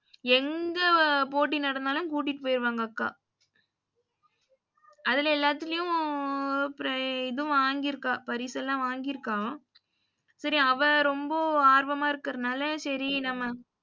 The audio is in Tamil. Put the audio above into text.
எங்க போட்டி நடந்தாலும் கூட்டிட்டு போயிருவாங்க அக்கா. அதுல எல்லாத்துலயும் ப்ர இதும் வாங்கிருக்கா பரிசெல்லாம் வாங்கிருக்கா. சரி அவ ரொம்ப ஆர்வமா இருக்குறநால சரி நம்ம